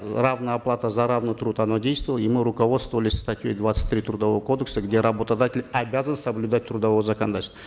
равная оплата за равный труд она действовала и мы руководствовались статьей двадцать три трудового кодекса где работодатель обязан соблюдать трудовое законодательство